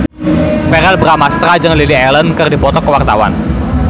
Verrell Bramastra jeung Lily Allen keur dipoto ku wartawan